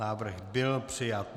Návrh byl přijat.